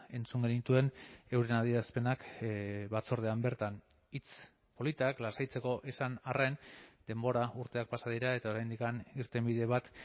entzun genituen euren adierazpenak batzordean bertan hitz politak lasaitzeko esan arren denbora urteak pasa dira eta oraindik irtenbide bat